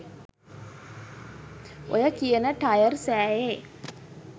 ඔය කියන ටයර් සෑයේ